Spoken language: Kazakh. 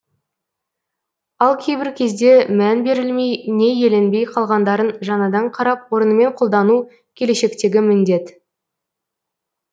ал кейбір кезде мән берілмей не еленбей қалғандарын жаңадан қарап орнымен қолдану келешектегі міндет